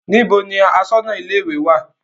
Níbo ni aṣọ́nà ilé-ìwé wà?